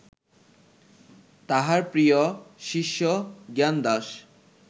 তাঁহার প্রিয় শিষ্য জ্ঞানদাস